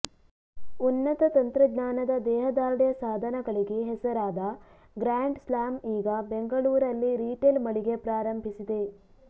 ಉನ್ನತ ತಂತ್ರಜ್ಞಾನದ ದೇಹದಾರ್ಢ್ಯ ಸಾಧನಗಳಿಗೆ ಹೆಸರಾದ ಗ್ರಾಂಡ್ ಸ್ಲಾಮ್ ಈಗ ಬೆಂಗಳೂರಲ್ಲಿ ರಿಟೇಲ್ ಮಳಿಗೆ ಪ್ರಾರಂಭಿಸಿದೆ